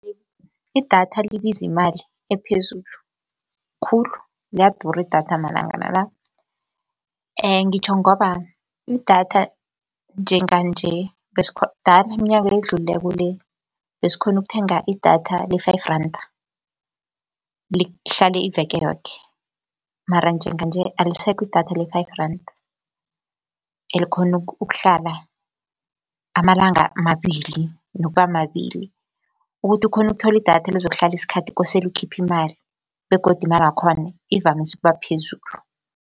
Idatha libiza imali ephezulu khulu liyadura idatha malangana la, ngitjho ngoba idatha njenganje dala iminyaka edlulileko le besikhona ukuthenga idatha le-five randa lihlale iveke yoke, mara njenganje alisekho idatha le-five randa elikhona ukuhlala amalanga amabili nokuba mabili. Ukuthi ukhone ukuthola idatha elizokuhlala isikhathi kosele ukhiphe imali begodu imali yakhona ivamise ukuba phezulu.